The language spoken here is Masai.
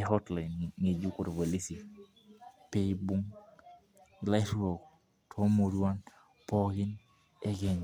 eotlain ng'ejuk oorpolisi piibung' illaruk toomurruan pookin ekenya.